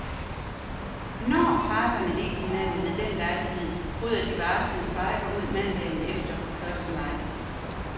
Når parterne ikke hinanden ved den lejlighed, bryder de varslede strejker ud mandagen efter, første maj.